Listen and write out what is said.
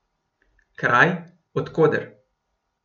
Kraj, od koder.